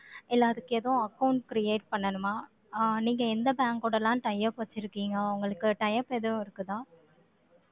இல்ல அதுக்கு ஏதும் account create பண்ணணுமா? அஹ் நீங்க எந்த bank ஓடலாம் tie up வச்சிருக்கீங்க? உங்களுக்கு tie up எதுவும் இருக்குதா